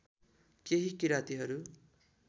केही किरातीहरू